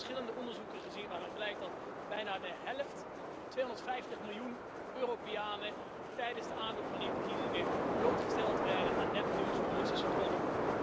We hebben verschillende onderzoeken gezien waaruit blijkt dat bijna de helft 250 miljoen van de Europeanen tijdens de aanloop van die verkiezingen blootgesteld werd aan nepnieuws van Russische trollen.